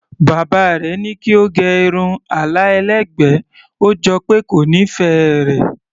Bàbá rẹ̀ ní kí ó gẹ irun àlà ẹlẹ́gbẹ̀ẹ́, ó jọ pé kò nífẹ̀ẹ́ rẹ̀.